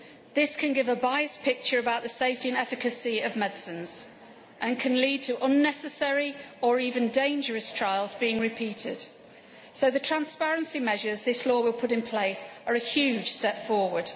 This can give a biased picture about the safety and efficacy of medicines and can lead to unnecessary or even dangerous trials being repeated. So the transparency measures this law will put in place are a huge step forward.